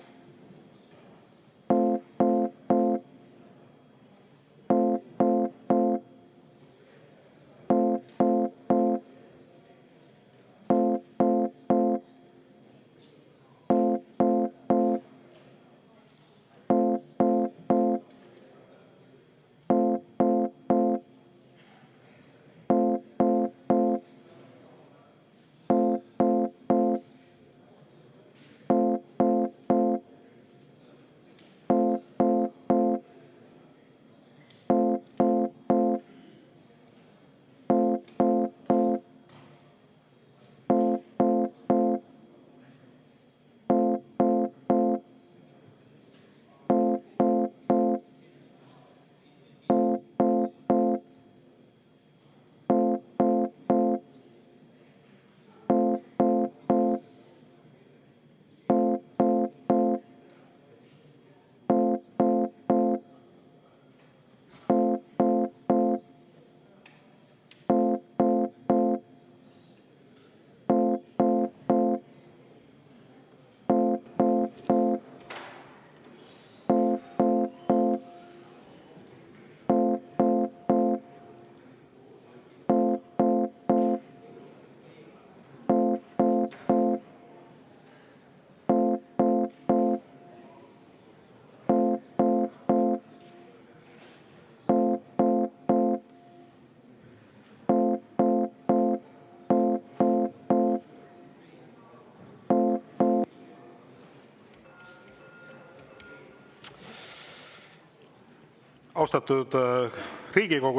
Austatud Riigikogu!